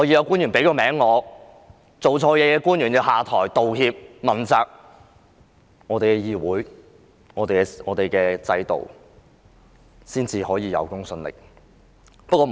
官員做錯事便要下台、道歉、被問責，這樣我們的議會和制度才可以有公信力。